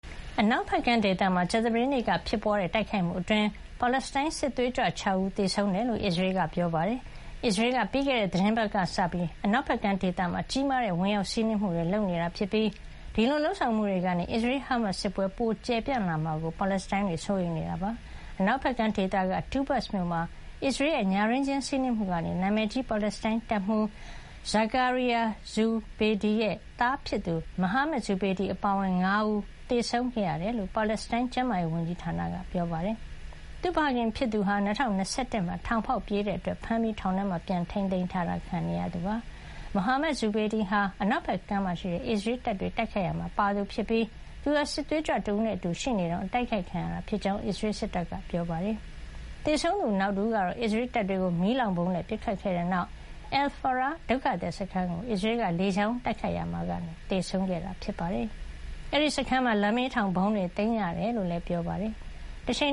အနောက်ဖက်ကမ်းဒေသမှာ ကြာသပတေးနေ့ကတိုက်ခိုက်မှုအတွင်း ပါလက်စတိုင်း စစ်သွေးကြွ ၆ ဦး သေဆုံးခဲ့တယ်လို့ အစ္စရေးက ပြောပါတယ်။ အစ္စရေးက ပြီးခဲ့တဲ့ သီတင်းပတ်ကစပြီး အနောက်ဖက်ကမ်းဒေသမှာ ကြီးမားတဲ့ ဝင်ရောက်စီးနင်းနေပြီး ဒီလိုလုပ်ဆောင်မှုတွေကနေ အစ္စရေး- ဟာမတ်စ် စစ်ပွဲပိုကျယ်ပြန့်လာမှာကို ပါလက်စတိုင်းတွေ စိုးရိမ်နေတာပါ။ အနောက်ဖက်ကမ်း ဒေသ မြောက်ပိုင်းက တူဘတ်စ် မြို့မှာ အစ္စရေးရဲ့ ညတွင်းချင်း စီးနင်းမှုကနေ နာမည်ကြီး ပါလက်စတိုင်းတပ်မှူး Zakaria Zubeidi ရဲ့ သားဖြစ်သူ Mohammed Zubeidi အပါအဝင် ၅ ဦး သေဆုံးခဲ့ရတယ်လို့ ပါလက်စတိုင်းကျန်းမာရေးဝန်ကြီးဌာနက ပြောပါတယ်။ သူ့ဖခင်ဖြစ်သူဟာ ၂၀၂၁ မှာ ထောင်ဖေါက်ပြေးခဲ့တဲ့အတွက် ဖမ်းပြီး ထောင်ထဲမှာ ပြန်ထိန်းသိမ်းတာ ခံနေရသူ ဖြစ်ပါတယ်။ မိုဟာမက် ဇူဘေဒီဟာ အနောက်ဖက်ကမ်းမှာရှိတဲ့ အစ္စရေးတပ်တွေကို တိုက်ခိုက်ရာမှာပါဝင်နေသူ ဖြစ်ပြီး သူဟာစစ်သွေးကြွတဦးနဲ့အတူ ရှိနေတုန်း အတိုက်ခိုက်ခံရတာဖြစ်ကြောင်း အစ္စရေး စစ်တပ်က ပြောပါတယ်။ သေဆုံးသူနောက်တဦးကတော့ အစ္စရေးတပ်တွေကို မီးလောင်ဗုံးနဲ့ ပစ်ခတ်ခဲ့တဲ့နောက် Al-Faraa ဒုက္ခသည် စခန်းကို အစ္စရေးကလေကြောင်းကနေ တိုက်ခိုက်ရာကနေ သေဆုံးခဲ့တာ ဖြစ်ပါတယ်။ အဲဒီစခန်းမှာ လမ်းဘေးထောင်ဗုံးတွေကို သိမ်းဆည်းရမိတယ်လို့လည်း ပြောပါတယ်။ တချိန်